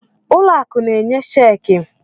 Ụlọ akụ na-enye cheekị.